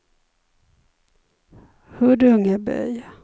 Huddungeby